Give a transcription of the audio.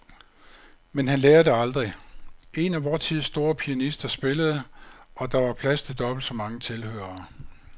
Men han lærer det aldrig. En af vor tids store pianister spillede, og der var plads til dobbelt så mange tilhørere.